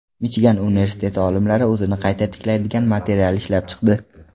Michigan universiteti olimlari o‘zini qayta tiklaydigan material ishlab chiqdi.